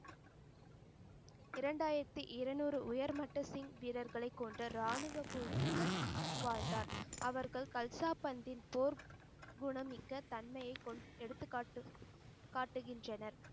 இரண்டாயிரத்தி இருநூறு உயர்மட்ட ஸ்டிங் வீரர்களை கொண்ட ராணுவக்குழுவுடன் வாழ்ந்தார். அவர்கள் கல்சாபத்தின் போர் குணமிக்க தன்மையை கொண்~எடுத்துக்காட்டு காட்டுகின்றனர்.